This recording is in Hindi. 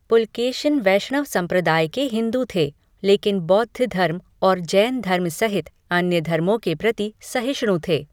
पुलकेशिन वैष्णव संप्रदाय के हिंदू थे, लेकिन बौद्ध धर्म और जैन धर्म सहित अन्य धर्मों के प्रति सहिष्णु थे।